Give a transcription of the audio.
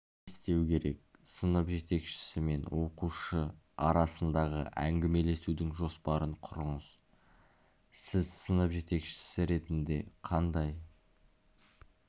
не істеу керек сынып жетекшісі мен оқушы арасындағы әңгімелесудің жоспарын құрыңыз сіз сынып жетекшісі ретінде қандай